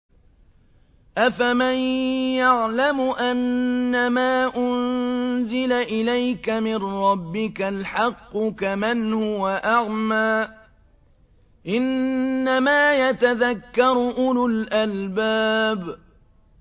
۞ أَفَمَن يَعْلَمُ أَنَّمَا أُنزِلَ إِلَيْكَ مِن رَّبِّكَ الْحَقُّ كَمَنْ هُوَ أَعْمَىٰ ۚ إِنَّمَا يَتَذَكَّرُ أُولُو الْأَلْبَابِ